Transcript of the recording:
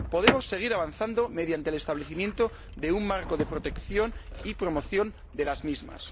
Podemos seguir avanzando mediante el establecimiento de un marco de protección y promoción de las mismas.